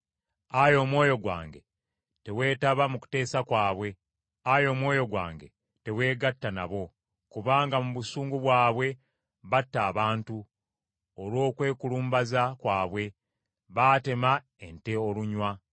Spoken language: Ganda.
Ayi omwoyo gwange teweetaba mu kuteesa kwabwe. Ayi omwoyo gwange teweegatta nabo. Kubanga mu busungu bwabwe batta abantu, olw’okwekulumbaza kwabwe baatema ente olunywa.